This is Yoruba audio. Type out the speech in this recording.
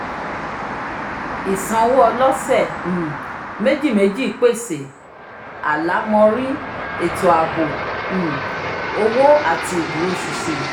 isanwo ọlọsẹ um méjì méjì pèsè àlámọrí ètó aabo um owo ati ìdúróṣinṣin